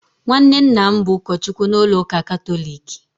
nwanne nna m bụ ụkọchukwu na ụlọ ụka Katọlik